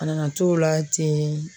A nana t'o la ten